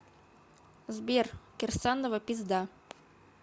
сбер кирсанова пизда